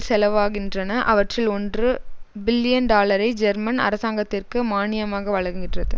செலவாகின்றன அவற்றில் ஒன்று பில்லியன் டாலரை ஜெர்மன் அரசாங்கத்திற்கு மானியமாக வழங்குகின்றது